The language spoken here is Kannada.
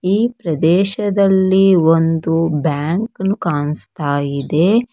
ಈ ಪ್ರದೇಶದಲ್ಲಿ ಒಂದು ಬ್ಯಾಂಕ್ ನು ಕಾಣಸ್ತಾಇದೆ.